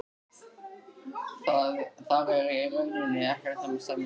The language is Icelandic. Þar var í rauninni ekkert um að semja.